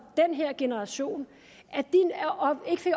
den her generation